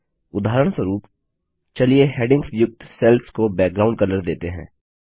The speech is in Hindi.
उदाहरणस्वरूप चलिए हैडिंग्स युक्त सेल्स को बैकग्राउंड कलर देते हैं